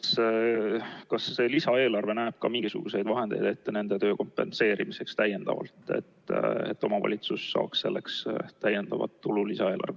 Kas lisaeelarve näeb mingisugused vahendid ette ka nende töö kompenseerimiseks, nii et omavalitsus saaks selle jaoks lisaeelarvest täiendavat tulu?